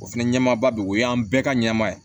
O fɛnɛ ɲɛmaaba be yen o y'an bɛɛ ka ɲɛnama ye